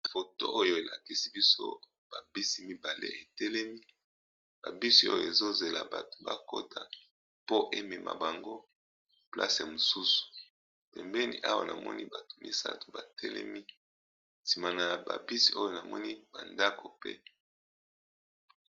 Awa ezali na balabala esika ba bus etelemaka po ezwa bato.